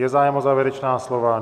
Je zájem o závěrečná slova?